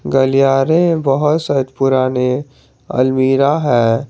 गलियारे में बहोत से पुराने अलमीरा है।